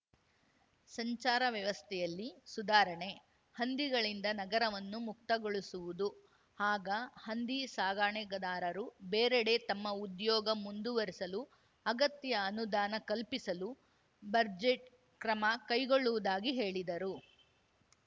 ಸಂಚಾರ ವ್ಯವಸ್ಥೆಯಲ್ಲಿ ಸುಧಾರಣೆ ಹಂದಿಗಳಿಂದ ನಗರವನ್ನು ಮುಕ್ತ ಗೊಳಿಸುವುದು ಹಾಗ ಹಂದಿ ಸಾಕಾಣಿಕೆದಾರರು ಬೇರೆಡೆ ತಮ್ಮ ಉದ್ಯೋಗ ಮುಂದುವರೆಸಲು ಅಗತ್ಯ ಅನುದಾನ ಕಲ್ಪಿಸಲು ಬರ್ಜೆಟ್‌ ಕ್ರಮ ಕೈಗೊಳ್ಳುವುದಾಗಿ ಹೇಳಿದರು